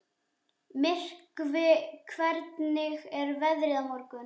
Myrkvi, hvernig er veðrið á morgun?